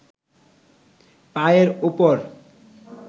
পায়ের ওপর